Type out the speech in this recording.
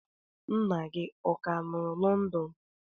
Nna gị ọ ka nọ London?